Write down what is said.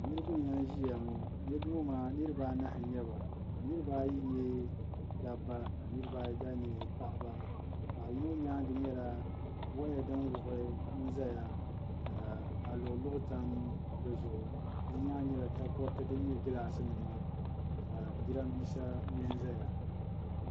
Niriba n-lan ʒiya ŋɔ niriba maa niriba anahi n-nyɛ ba niriba ayi n-nyɛ daba ka niriba ayi gba nyɛ paɣiba paɣ'yino nyaaŋa nyɛla waya din wuɣi n-zaya ka luɣuluɣu tam di zuɣu di nyaaŋa nyɛla takoriti din gilaasinima ka jirambiisa mɛ n-zaya